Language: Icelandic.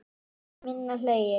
Ekki minna hlegið.